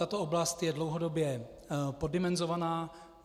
Tato oblast je dlouhodobě poddimenzovaná.